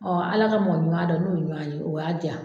Ala ka mɔgɔ ɲuman dɔ n'o ye ɲɔgɔn ye, o y'a di yan